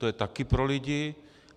To je taky pro lidi.